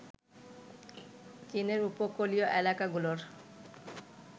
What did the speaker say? চীনের উপকূলীয় এলাকাগুলোর